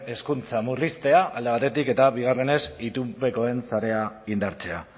hezkuntza murriztea alde batetik eta bigarrenez itunpekoen sarea indartzea